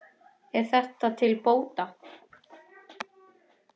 Er þetta til bóta.